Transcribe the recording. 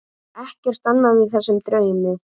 Ekkert annað í þessum draumi.